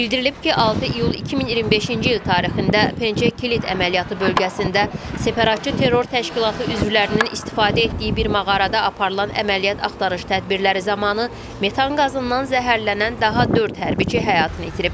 Bildirilib ki, 6 iyul 2025-ci il tarixində Pençe Kilit əməliyyatı bölgəsində separatçı terror təşkilatı üzvlərinin istifadə etdiyi bir mağarada aparılan əməliyyat axtarış tədbirləri zamanı metan qazından zəhərlənən daha dörd hərbçi həyatını itirib.